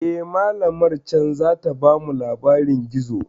Eh, malamar can zata bamu labarin gizo.